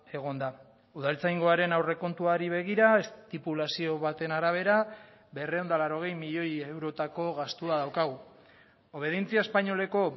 egon da udaltzaingoaren aurrekontuari begira estipulazio baten arabera berrehun eta laurogei milioi eurotako gastua daukagu obedientzia espainoleko